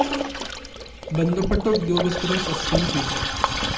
ബന്ധപ്പെട്ട ഉദ്യോഗസ്ഥരെ സസ്‌പെന്‍ഡു ചെയ്തു